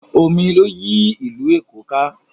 Omi ló yí ìlú Èkó ká.